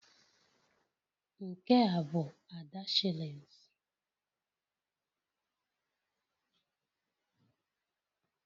Nke a bụ Ada shillings